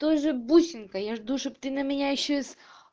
тоже бусинка я жду чтоб ты на меня ещё и с